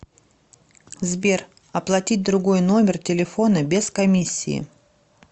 сбер оплатить другой номер телефона без комиссии